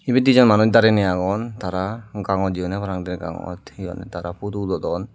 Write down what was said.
ebey de jon manus dariney agon tara gangot jeyondey parapang der gongot he honne tara photo udodon.